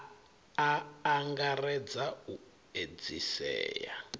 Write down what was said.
a a angaredza u edzisea